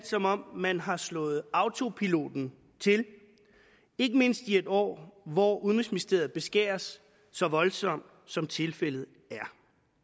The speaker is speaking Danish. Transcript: som om man har slået autopiloten til ikke mindst i et år hvor udenrigsministeriet beskæres så voldsomt som tilfældet er